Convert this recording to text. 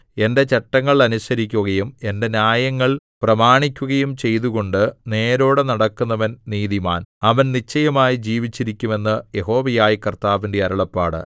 എന്റെ ചട്ടങ്ങൾ അനുസരിക്കുകയും എന്റെ ന്യായങ്ങൾ പ്രമാണിക്കുകയും ചെയ്തുകൊണ്ട് നേരോടെ നടക്കുന്നവൻ നീതിമാൻ അവൻ നിശ്ചയമായി ജീവിച്ചിരിക്കും എന്ന് യഹോവയായ കർത്താവിന്റെ അരുളപ്പാട്